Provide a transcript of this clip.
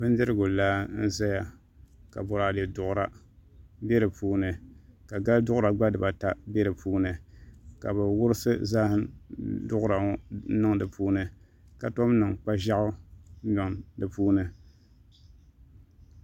Bindirigu laa n ʒɛya ka boraadɛ duɣura bɛ di puuni ka gali duɣura gba bɛ di puuni ka bi wurisi zaham duɣura ŋo niŋ di puuni ka tom niŋ kpa ʒiɛɣu niŋ di puuni